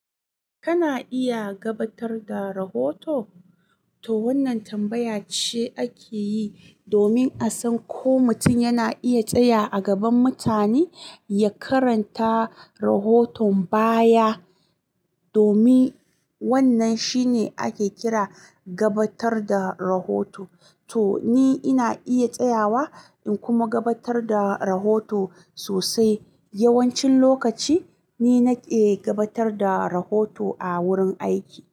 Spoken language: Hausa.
Kana iya gabatar da rahoto? To wannan tambaya ce ake yi domin a san ko mutum yana iya tsaya a gaban mutane ya karanta rahoton baya. Domin wannan shine ake kira gabatar da rahoto. To ni ina iya tsayawa in kuma gabatar da rahoto sosai. Yawancin lokaci ni nake gabatar da rahoto a wurin aiki.